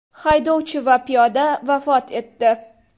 Haydovchi va piyoda vafot etdi.